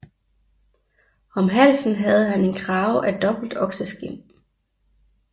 Om halsen havde han en krave af dobbelt okseskind